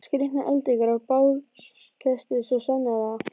Skrýtnar eldingar og bálkesti, svo sannarlega.